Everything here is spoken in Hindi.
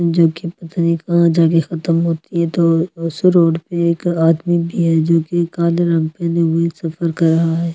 ज़ो की पता नही कहा जा के खतम होती है तो उस रोड में एक आदमी भी है जो की काले रंग पहने सफ़र कर रहा है ।